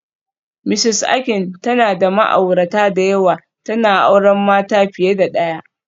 Mrs Akin tana da ma'aurata da yawa, tana auren mata fiye da daya